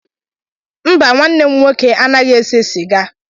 Mba nwanne m nwoke anaghị ese sịga.